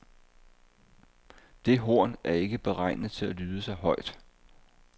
Det horn er ikke beregnet til at lyde så højt.